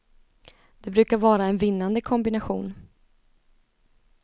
Det brukar vara en vinnande kombination.